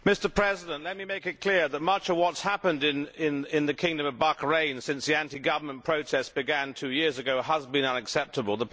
Mr President, let me make it clear that much of what has happened in the kingdom of Bahrain since the anti government protests began two years again has been unacceptable.